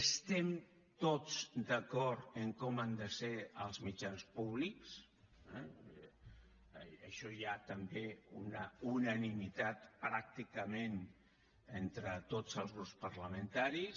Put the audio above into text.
estem tots d’acord en com han de ser els mitjans públics eh en això hi ha també una unanimitat pràcticament entre tots els grups parlamentaris